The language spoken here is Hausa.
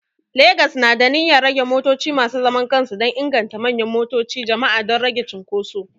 Legas na da niyyar rage motoci masu zaman kansu dan inganta manyan motoci jama'a don rage cunkuso